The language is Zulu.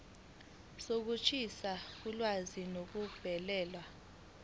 sokushintsha ulwazi ngokubhalela